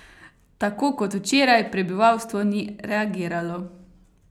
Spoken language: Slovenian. Tako kot včeraj, prebivalstvo ni reagiralo.